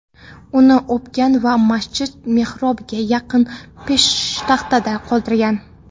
uni o‘pgan va masjid mehrobiga yaqin peshtaxtada qoldirgan.